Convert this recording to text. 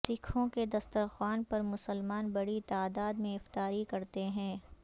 سکھوں کے دستر خوان پر مسلمان بڑی تعداد میں افطاری کرتے ہیں